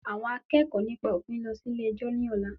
Àwọn akẹ́kọ̀ọ́ nípa òfin ń lọ sí ilé ẹjọ́ ni ọ̀la